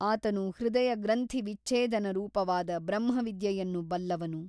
ಆತನು ಹೃದಯಗ್ರಂಥಿವಿಚ್ಛೇದನ ರೂಪವಾದ ಬ್ರಹ್ಮವಿದ್ಯೆಯನ್ನು ಬಲ್ಲವನು.